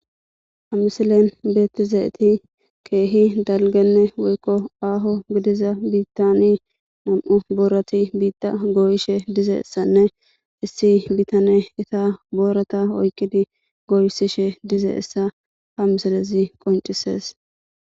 hamisilen beettizeeti keehi dalgenne woykko aaho gidiza biittani nam7u boorati biitta goyishe dize essanne issi bitane ita boorata oykidi goyssishe dize issa ha misilezi qoncisees